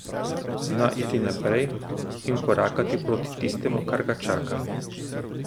Zna iti naprej in korakati proti tistemu, kar ga čaka.